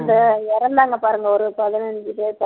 அந்த இறந்தாங்க பாருங்க ஒரு பதினஞ்சு பேர் பதி